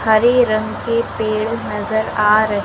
हरे रंग के पेड़ नज़र आ रहे--